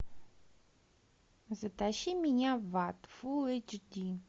затащи меня в ад фул эйч ди